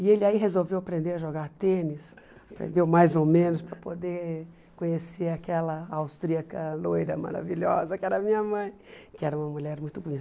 E ele aí resolveu aprender a jogar tênis, aprendeu mais ou menos para poder conhecer aquela austríaca loira maravilhosa que era a minha mãe, que era uma mulher muito bonita.